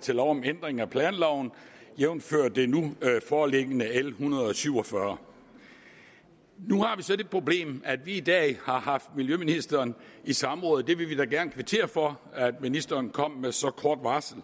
til lov om ændring af planloven jævnfør det nu foreliggende l en hundrede og syv og fyrre nu har vi så det problem at vi i dag har haft miljøministeren i samråd og vi vil da gerne kvittere for at ministeren kom med så kort varsel